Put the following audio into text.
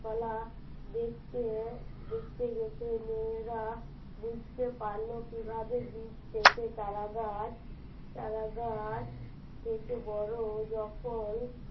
ফলা দেখতে দেখতে মেয়েরা বুঝতে পারলো কিভাবে বীজ থেকে চারা গাছ চারা গাছ থেকে বড় যখন